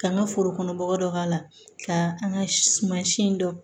Ka n ka foro kɔnɔ bɔgɔ dɔ k'a la ka an ka suman si dɔn